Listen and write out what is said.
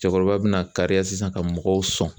Cɛkɔrɔba bɛna kariya sisan ka mɔgɔw sɔn